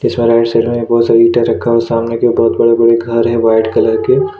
इसमें right side में बहुत सारे ईंटा रखा है सामने के बहुत बड़े-बड़े घर हैं वाइट कलर के।